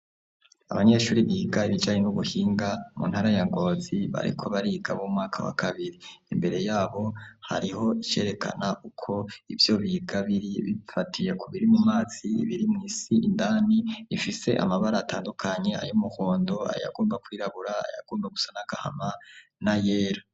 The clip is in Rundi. Abanyeshure biga ibijanye n'ubuhinga mu ntara ya Ngozi bariko bariga bo mumwaka wa kabiri, imbere yabo hariho icerekana uko ivyo biga biri bifatiye kubiri mumazi, ibiri mw'isi indani bifise amabar' atandukanye , ay'umuhondo, ayagomba kwirabura , ayagomba gusa n'agahama m'ayera